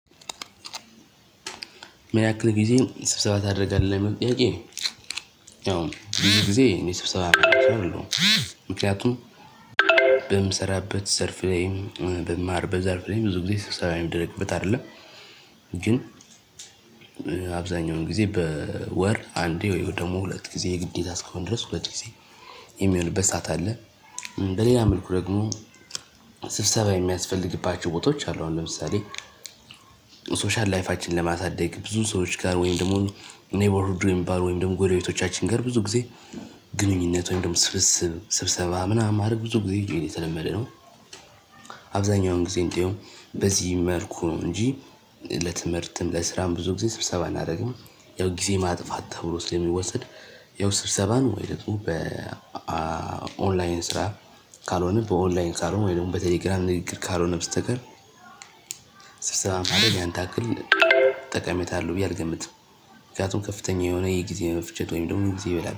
ምን ያክል ጊዜ ስብሰባ ታደርጋለህ ሚል ጥያቄ? ያው ብዙ ጊዜ እኔ ስብሰባ ማደርግ ሰው አይደለሁም። ምክንያቱም በምሰራበት ዘርፍ ላይም በምማርበት ዘርፍ ላይም ብዙ ጊዜ ስብሰባ የሚደረግበት አይደለም። ግን አብዛኛውን ጊዜ በወር አንዴ ወይ ደግሞ ሁለት ጊዜ የግዴታ እስካሁን ድረስ ሁለት ጊዜ የሚሆንበት ሰዓት አለ። በሌላ መልኩ ደግሞ ስብሰባ የሚያስፈልግባቸው ቦታዎች አሉ አሁን ለምሳሌ ሶሻል ላይፋችን ለማሳደግ ብዙ ሰዎች ጋር ወይም ደግሞ ኔበርሁድ ወይም ሚባል ወይም ደግሞ ጎረቤቶቻችን ጋር ብዙ ጊዜ ግንኙነት ወይም ደግሞ ስብስብ ስብሰባ ምናምን ማድረግ ብዙ ጊዜ የተለመደ ነው። አብዛኛውን ጊዜ እንደዲያውም በዚህ መልኩ ነው እንጂ ለትምህርትም ለስራም ብዙ ጊዜ ስብሰባ አናደርግም። ያው ጊዜ ማጥፋት ተብሎ ስለሚወስድ ያው ስብሰባን ወይ ደግሞ በኦንላይን ስራ ካልሆነ በኦንላይን ካልሆነ ወይ ደግሞ በቴሌግራም ላይ እግር ካልሆነ በስተቀር። ስብሰባን ምድረግ ያን ያክል ተቀሜታ አለው ብዬ አልገምትም። ምክንያቱም ከፍተኛ የሆነ የጊዜ መፍጀት ወይም ደግሞ ጊዜ ይበላል